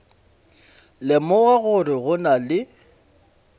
lemoga gore go na le